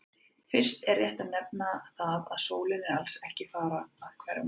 Fyrst er rétt að nefna það að sólin er alls ekki að fara að hverfa!